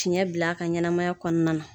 Fiɲɛ bila a ka ɲɛnɛmaya kɔnɔna na.